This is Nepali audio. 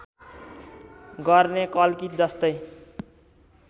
गर्ने कल्की जस्तै